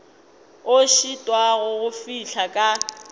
a šitwago go fihla ka